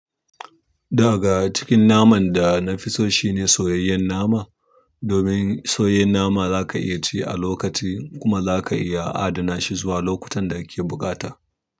Daga cikin naman dana fiso shine soyayyan nam domin soyayyen nama zaka iya ci a lokaci kuma zaka iya adana shi zuwa lokutan da kake buƙata.